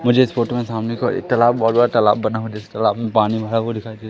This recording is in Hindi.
मुझे इस फोटो में सामने की ओर एक तलाब बहोत बड़ा तलाब बना हुआ जिस तलाब में पानी भरा हुआ दिखाई दे--